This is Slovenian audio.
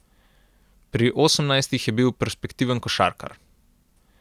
Pri osemnajstih je bil perspektiven košarkar.